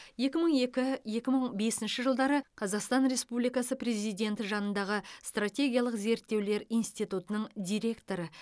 екі мың екі екі мың бесінші жылдары қазақстан республикасы президенті жанындағы стратегиялық зерттеулер институтының директоры